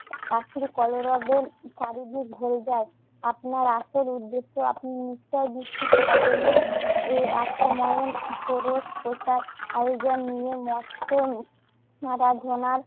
পাখির কলরবে চারিদিকে ভরে যায়। আপনার আসল উদ্দ্যেশ্য আপনি নিশ্চয়ই বিক্ষিপ্ত হবেন না। এই এক সময়ে পুরুষ প্রথার আয়োজন নিয়ে মস্ত উম আরাধনার